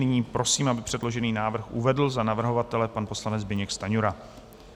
Nyní prosím, aby předložený návrh uvedl za navrhovatele pan poslanec Zbyněk Stanjura.